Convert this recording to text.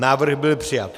Návrh byl přijat.